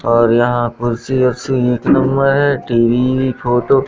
और यहां कुर्सी वरसी एक नंबर है टी_वी भी फोटो --